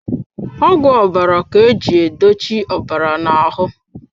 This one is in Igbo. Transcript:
Ọgwụ ọbara ka eji edochi ọbara na ahụ.